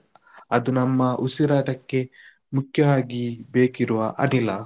ಅದು ನಮ್ಮ ಉಸಿರಾಟಕ್ಕೆ ಮುಖ್ಯವಾಗಿ ಬೇಕಿರುವ ಅನಿಲ.